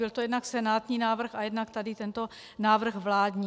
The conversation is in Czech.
Byl to jednak senátní návrh a jednak tady tento návrh vládní.